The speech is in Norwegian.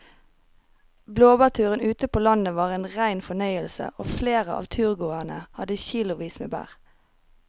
Blåbærturen ute på landet var en rein fornøyelse og flere av turgåerene hadde kilosvis med bær.